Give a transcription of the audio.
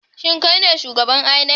Shin kai ne shugaban inec?